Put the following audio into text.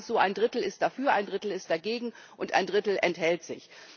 Es ist meistens so ein Drittel ist dafür, ein Drittel ist dagegen und ein Drittel enthält sich.